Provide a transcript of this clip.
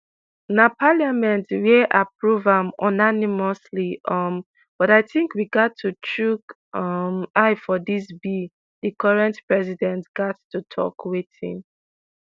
na parliament wia approve am unanimously um but i tink we gat to chook um eye for dis bill di current president gat to tok wetin